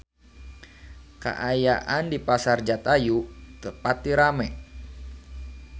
Kaayaan di Pasar Jatayu teu pati rame